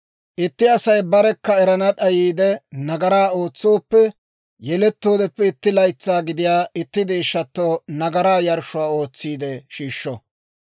« ‹Itti Asay barekka erana d'ayiide nagaraa ootsooppe, yelettoodeppe itti laytsaa gidiyaa itti deeshshatto nagaraa yarshshuwaa ootsiide shiishsho;